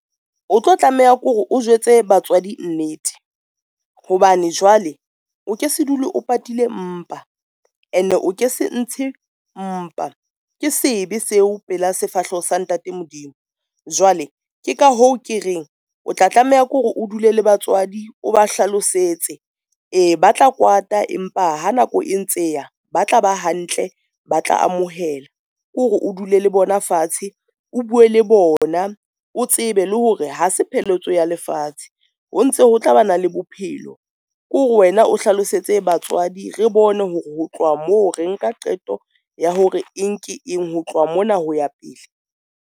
O tlo tlameha ke hore o jwetse batswadi nnete, hobane jwale o ke se dule o patile mpa ene o ke se ntshe mpa. Ke sebe seo pela sefahleho sa ntate Modimo, jwale ke ka hoo ke reng o tla tlameha ke hore o dule le batswadi o ba hlalosetse. E, ba tla kwata empa ha nako e ntse ya ba tla ba hantle, ba tla amohela ke hore o dule le bona fatshe, o bue le bona, o tsebe le hore ha se pheletso ya lefatshe o ntse ho tla ba na le bophelo ke hore wena o hlalosetse batswadi. Re bone hore ho tloha moo re nka qeto ya hore eng ke eng ho tloha mona ho ya pele.